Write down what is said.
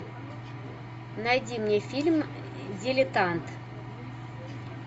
найди мне фильм дилетант